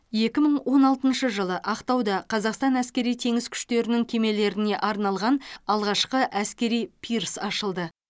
екі мың он алтыншы жылы ақтауда қазақстан әскери теңіз күштерінің кемелеріне арналған алғашқы әскери пирс ашылды